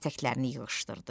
ətəklərini yığışdırdı.